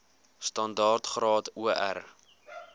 standaard graad or